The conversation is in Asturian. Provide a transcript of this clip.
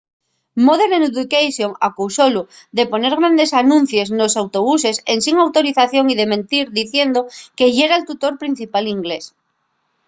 modern education acusólu de poner grandes anuncies nos autobuses ensin autorización y de mentir diciendo que yera’l tutor principal d’inglés